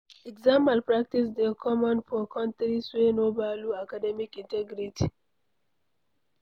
Exam malpractice dey common for countries wey no value academic integrity